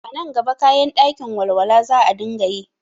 A nan gaba kayan ɗakin walwa za a dinga yi